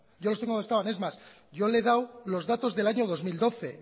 yo los tengo donde estaban es más yo le he dado los datos del año dos mil doce